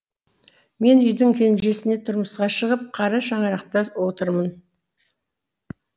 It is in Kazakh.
мен үйдің кенжесіне тұрмысқа шығып қара шаңырақта отырмын